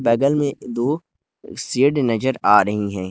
बगल में दो शेड नजर आ रही है।